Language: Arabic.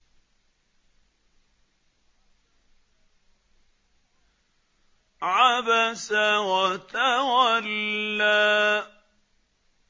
عَبَسَ وَتَوَلَّىٰ